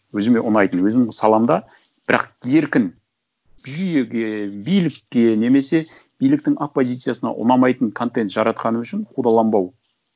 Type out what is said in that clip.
өзіме ұнайтын өзімнің саламда бірақ еркін жүйеге билікке немесе биліктің оппозициясына ұнамайтын контент жаратқаным үшін қудаланбау